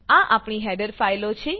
આ આપણી હેડર ફાઈલો છે